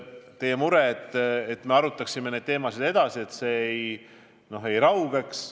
Teie mure on, et me arutaksime neid teemasid edasi, et see ei raugeks.